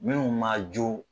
Minnuw man jo.